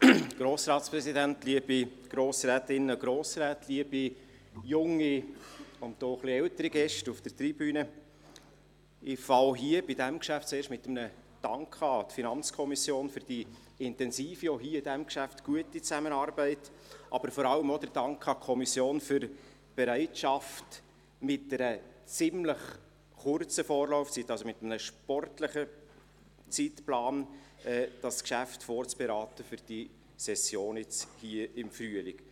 Ich beginne auch hier mit einem Dank an die FiKo für die intensive und auch in diesem Geschäft gute Zusammenarbeit, aber vor allem auch für die Bereitschaft, dieses Geschäft mit einer ziemlich kurzen Vorlaufzeit, also mit einem sportlichen Zeitplan, für diese Frühlingssession vorzuberaten.